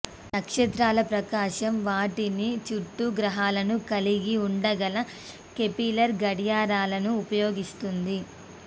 నక్షత్రాల ప్రకాశం వాటిని చుట్టూ గ్రహాలను కలిగి ఉండగల కెపీలర్ గడియారాలను ఉపయోగిస్తుంది